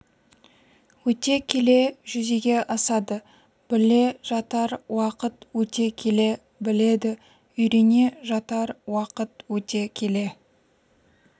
өте келе жүзеге асады біле жатар уақыт өте келе біледі үйрене жатар уақыт өте келе